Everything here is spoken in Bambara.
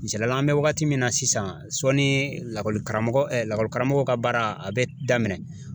Misalila an bɛ wagati mun na sisan sɔnni lakɔli karamɔgɔ lakɔlikaramɔgɔ ka baara a be daminɛ.